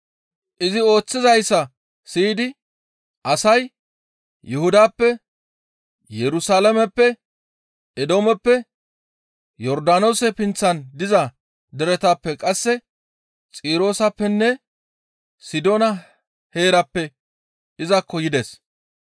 Izi ooththizayssa siyidi asay Yuhudappe, Yerusalaameppe, Eedoomeppe, Yordaanoose pinththan diza deretappe qasse Xirooseppenne Sidoona heerappe izakko yides.